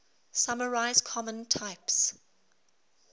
summarize common types